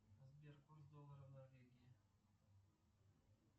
сбер курс доллара в норвегии